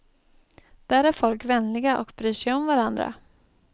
Där är folk vänliga och bryr sig om varandra.